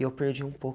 E eu perdi um